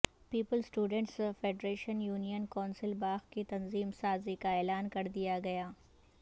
Peoples students federation union council Bagh کی تنظیم سازی کا اعلان کر دیا گیا